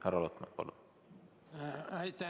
Härra Lotman, palun!